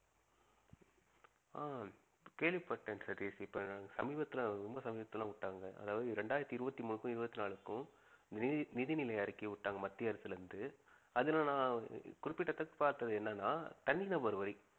ஆஹ் கேள்விப்பட்டேன் சதீஷ் இப்ப சமீபத்தில ரொம்ப சமீபத்தில விட்டாங்க அதாவது ரெண்டாயிரத்தி இருவத்தி மூணுக்கும் இருவத்தி நாலுக்கும் நிதி நிதி நிலை அறிக்கை விட்டாங்க மத்திய அரசிலிருந்து அதுல நான் பார்த்தது என்னனா தனிநபர் வரி